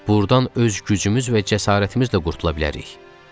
Burdan öz gücümüz və cəsarətimizlə qurtula bilərik.